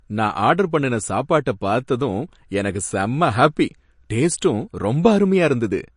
நான் ஆர்டர் பண்ணுன சாப்பாட்ட பார்த்ததும் எனக்கு செம்ம ஹாப்பி. டேஸ்டும் ரொம்ப அருமையா இருந்தது.